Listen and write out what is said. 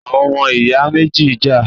Àwọn ọmọ ìyá méjì ń jà